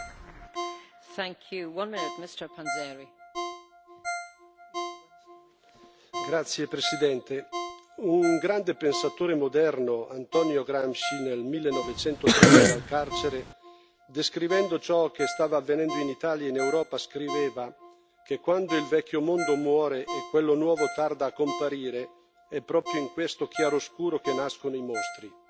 Signora Presidente, onorevoli colleghi, un grande pensatore moderno, Antonio Gramsci, nel 1930 dal carcere, descrivendo ciò che stava avvenendo in Italia e in Europa, scriveva che, quando il vecchio mondo muore e quello nuovo tarda a comparire, è proprio in questo chiaroscuro che nascono i mostri.